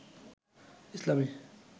ইসলামি